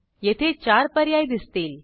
येथे 4 पर्याय दिसतील